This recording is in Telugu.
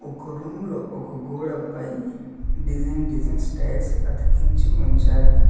ఒక రూమ్ లో ఒక గోడ పై డిజైన్ డిజైన్ టైల్స్ అతికించి ఉంచారు.